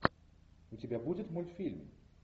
у тебя будет мультфильм